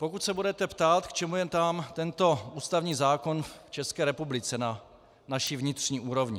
Pokud se budete ptát, k čemu je nám tento ústavní zákon v České republice na naší vnitřní úrovni.